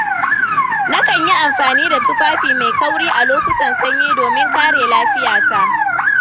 Nakan yi amfani da tufafi mai kauri a lokutan sanyi domin kare lafiyata.